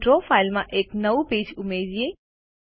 ચાલો ડ્રો ફાઈલમાં એક નવું પેજ ઉમેરીએ